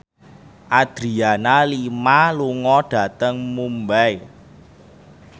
Adriana Lima lunga dhateng Mumbai